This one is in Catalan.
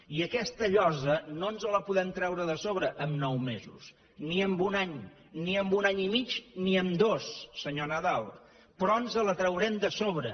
i aquesta llosa no ens la podrem treure de sobre en nou mesos ni en un any ni en un any i mig ni en dos senyor nadal però ens la traurem de sobre